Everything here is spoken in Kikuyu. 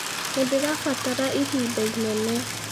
Nĩndĩrabatara ĩhĩnda ĩnene.